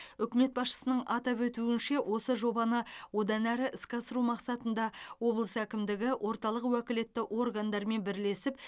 үкімет басшысының атап өтуінше осы жобаны одан әрі іске асыру мақсатында облыс әкімдігі орталық уәкілетті органдармен бірлесіп